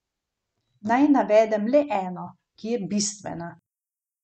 Jušenkova, liberalnega ruskega politika, so ustrelili v bližini njegove hiše v Moskvi.